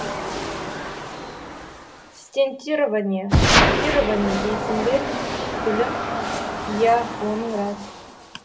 стентирование шунтирование дейсің бе гүлім иә оның рас